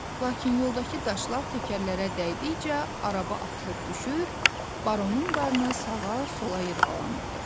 Lakin yoldakı daşlar təkərlərə dəydikcə, araba atılıb düşür, baronun qarnı sağa-sola yırğalanırdı.